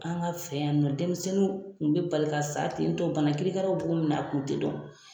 An ka fɛ yan nɔ denmisɛnninw kun bɛ bali ka sa tentɔ bana kiri karaw b'o minɛ a kun tɛ dɔn.